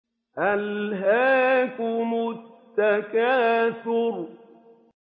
أَلْهَاكُمُ التَّكَاثُرُ